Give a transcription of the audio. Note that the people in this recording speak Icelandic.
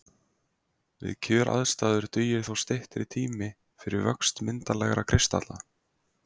Við kjöraðstæður dugir þó styttri tími fyrir vöxt myndarlegra kristalla.